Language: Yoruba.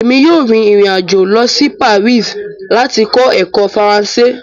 Emi yoo rin irin-ajo lọ si Paris ati kọ ẹkọ Faranse